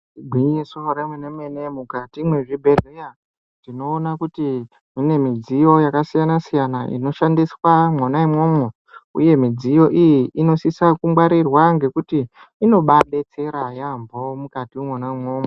Igwinyiso remenemene mukati mwezvibhehleya tinoona kuti mune midziyo yakasiyanasiyana inoshandiswa mwona imwomwo uye midziyo iyi inosisa kungwarirwa ngekuti inobaadetsera yamho mukati imwomwo.